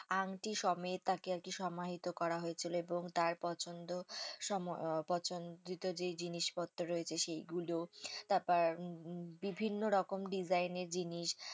আংটি সমেত তাকে আরকি সমাহিত করা হয়েছিল এবং তার পছন্দ সম পছন্দিত যে জিনিসপত্র রয়েছে সেইগুলো তারপর বিভিন্ন রকম design এর জিনিস